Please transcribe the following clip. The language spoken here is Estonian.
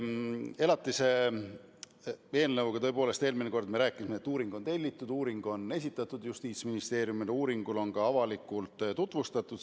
Elatise eelnõu kohta me tõepoolest eelmine kord rääkisime, et uuring on tellitud ja esitatud Justiitsministeeriumile, seda on ka avalikult tutvustatud.